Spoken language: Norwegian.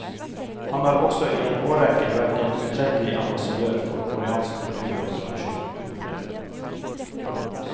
Han har også i en årrekke vært en utrettelig ambassadør for koreansk kultur og tradisjon. punktum